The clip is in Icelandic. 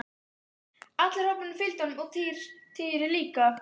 Allur hópurinn fylgdi honum og Týri líka!